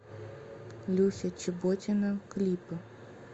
люся чеботина клипы